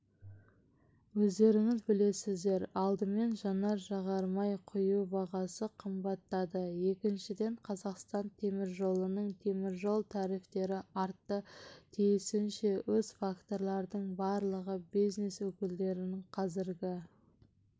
өздеріңіз білесіздер алдымен жанар-жағармай құю бағасы қымбаттады екіншіден қазақстан темір жолының теміржол тарифтері артты тиісінше осы факторлардың барлығы бизнес өкілдерін қазіргі